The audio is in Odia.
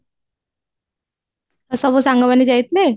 ଆଉ ସବୁ ସାଙ୍ଗମାନେ ଯାଇଥିଲେ